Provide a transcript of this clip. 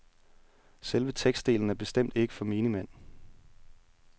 Selve tekstdelen er bestemt ikke for menigmand.